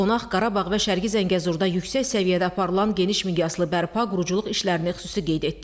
Qonaq Qarabağ və Şərqi Zəngəzurda yüksək səviyyədə aparılan geniş miqyaslı bərpa-quruculuq işlərini xüsusi qeyd etdi.